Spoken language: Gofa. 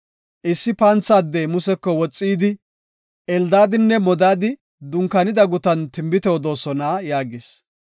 Issi pantha addey Museko woxi yidi, “Eldaadinne Modaadi dunkaanida gutan tinbite odoosona” yaagis.